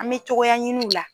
An me togoya ɲini ula